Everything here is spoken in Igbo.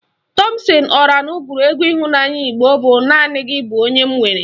Tọmpsịn Ọranụ gụrụ egwu ịhụnanya Igbo bụ "Naanị gị bụ onye m nwere"